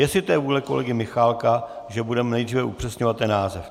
Jestli to je vůle kolegy Michálka, že budeme nejdříve upřesňovat ten název.